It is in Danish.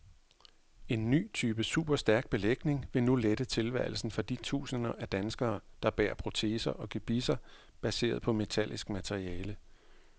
En ny type superstærk belægning vil nu lette tilværelsen for de tusinder af danskere, der bærer proteser og gebisser baseret på metallisk materiale.